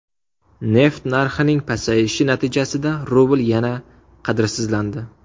Neft narxining pasayishi natijasida rubl yana qadrsizlandi.